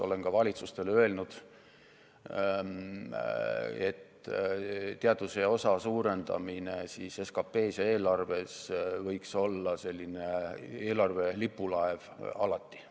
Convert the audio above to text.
Olen ka valitsustele öelnud, et teaduse osa suurendamine SKT-s ja eelarves võiks olla selline lipulaev alati.